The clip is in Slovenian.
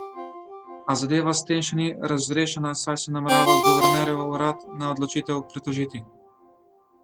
A zadeva s tem še ni razrešena, saj se namerava guvernerjev urad na odločitev pritožiti.